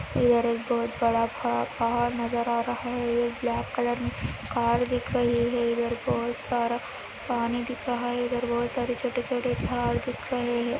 इधर एक बहुत बड़ा सा पहाड़ नज़र आ रहा है एक ब्लैक कलर कार दिक् रही हे इदर बहुत सरा पानी दिक् रहा हे इदर बहुत सरा छोटे छोटे जड़ दिक् रहे हे|